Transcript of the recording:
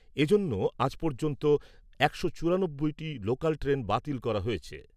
এজন্য আজ পর্যন্ত একশো চুরানব্বইটি লোকাল ট্রেন বাতিল করা হয়েছে ।